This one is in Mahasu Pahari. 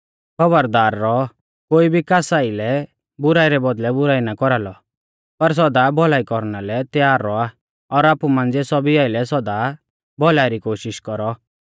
खौबरदार रौऔ कोई भी कास आइलै बुराई रै बौदल़ै बुराई ना कौरालौ पर सौदा भौलाई कौरना लै त्यार रौआ और आपु मांझ़िऐ सौभी आइलै सौदा भौलाई री कोशिष कौरौ